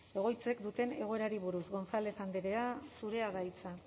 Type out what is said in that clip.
egoitzek duten egoerari buruz gonzález andrea zurea da hitza